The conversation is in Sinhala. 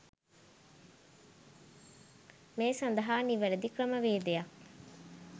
මේ සඳහා නිවැරැදි ක්‍රමවේදයක්